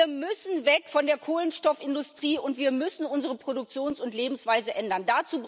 Wir müssen weg von der Kohlenstoffindustrie, und wir müssen unsere Produktions und Lebensweise ändern.